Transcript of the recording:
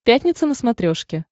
пятница на смотрешке